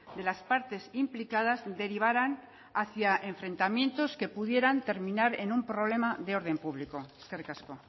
de las partes implicadas derivaran hacia enfrentamientos que pudieran terminar en un problema de orden público eskerrik asko